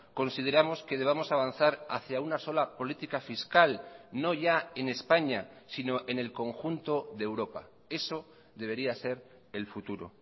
consideramos que debamos avanzar hacia una sola política fiscal no ya en españa sino en el conjunto de europa eso debería ser el futuro